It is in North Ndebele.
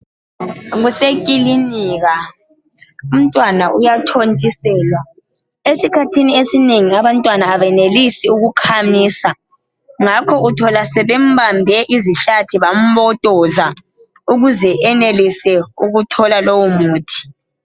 Kusekilinika, umntwana uyathontiselwa. Esikhathini esinengi abantwana abenelisi ukukhamisa, ngakho uthola sebembambe izihlathi bambotoza, ukuze enelise ukuthola lowo muthi.